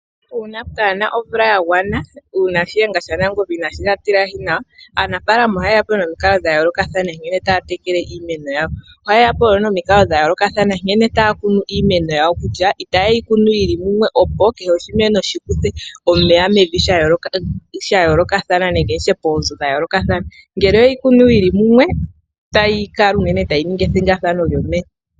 Uuna kaapu na omvula ya gwana, uuna shiyenga shaNangombe inega tilahi nawa, aanafaalama ohaye ya po nomikalo nkene taya tekele iimeno yawo. Ohaye ya po nomikalo dha yoolokathana nkene taya kunu iimeno yawo kutya itaye yi kunu yi li mumwe, opo kehe oshimeno shi kuthe omeya poonzo dha yoolokathana, ngele oye yi kunu yi li mumwe otayi kala unene tayi ningi ethigathano lyomeya.